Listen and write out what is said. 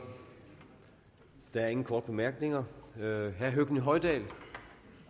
der er ingen korte bemærkninger herre høgni hoydal